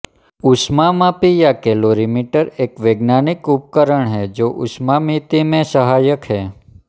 ऊष्मामापी या कैलोरीमीटर एक वैज्ञानिक उपकरण है जो ऊष्मामिति में सहायक है